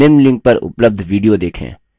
निम्न link पर उपलब्ध video देखें